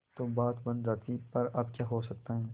तो बात बन जाती पर अब क्या हो सकता है